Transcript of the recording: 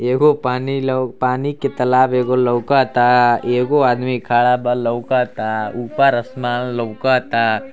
एगो पानी लौ पानी के तलाब एगो लउक ता एगो अदमी खड़ा ब लउक ता ऊपर असमान लउक ता।